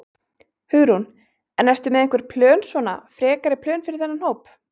Hugrún: En ertu með einhver plön svona, frekari plön fyrir þennan hóp?